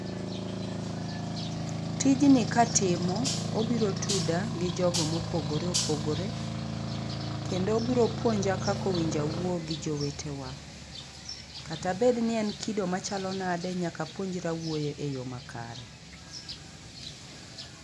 Tijni katimo, obiro tuda gi jogo mopogore opogore, kendo obiro puonja kaka owinjo awuo gi jowetewa. Kata obed ni en kido machalo nadi, nyaka apuonjra wuoyo eyo makare.